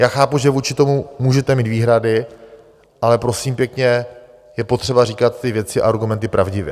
Já chápu, že vůči tomu můžete mít výhrady, ale prosím pěkně, je potřeba říkat ty věci a argumenty pravdivě.